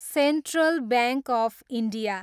central bank of India